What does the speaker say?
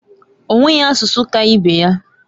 Onweghi asusu ka ibe ya.